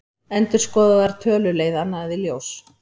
Endurskoðaðar tölur leiða annað í ljós